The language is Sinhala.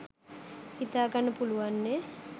හිතාගන්න පුලුවන්නෙ